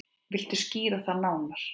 Viltu skýra það nánar?